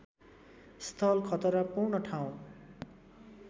स्थल खतरापूर्ण ठाउँ